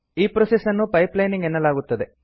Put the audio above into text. ಈ ಪ್ರೋಸೆಸ್ ನ್ನು pipe lining ಎನ್ನಲಾಗುತ್ತದೆ